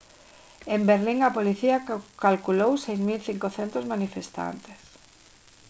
en berlín a policía calculou 6500 manifestantes